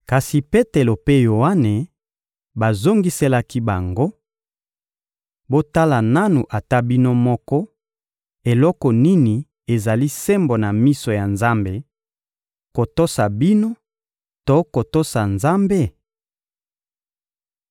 Kasi Petelo mpe Yoane bazongiselaki bango: — Botala nanu ata bino moko, eloko nini ezali sembo na miso ya Nzambe: kotosa bino to kotosa Nzambe?